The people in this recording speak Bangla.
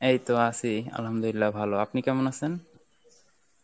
এই তো আছি Arbi ভালো আপনি কেমন আছেন?